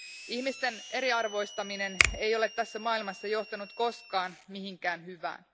Ihmisten eriarvoistaminen ei ole tässä maailmassa johtanut koskaan mihinkään hyvään.